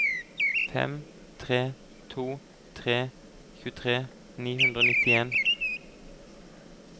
fem tre to tre tjuetre ni hundre og nittien